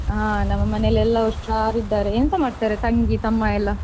ಹಾ ನಮ್ಮ ಮನೇಲಿ ಎಲ್ಲಾ ಹುಷಾರ್ ಇದ್ದಾರೆ ಎಂತ ಮಾಡ್ತಾರೆ ತಂಗಿ, ತಮ್ಮ ಎಲ್ಲಾ?